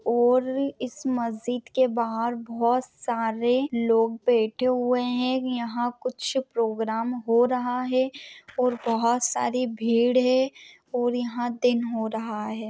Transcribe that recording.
और इस मस्जिद के बाहर बहुत सारे लोग बैठे हुवे है यहा कुछ प्रोग्राम हो रहा है और बहुत सारी भीड़ है और यहा दिन हो रहा है।